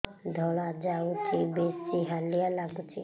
ଧଳା ଯାଉଛି ବେଶି ହାଲିଆ ଲାଗୁଚି